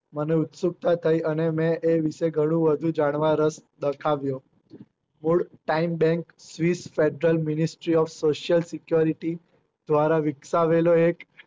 મને ઉત્સુકતા થઇ અને મેં ઘણું બધું જાણવા રસ દાખવ્યો બોલ time bank social security દ્વારા વિક્સાવેલો એક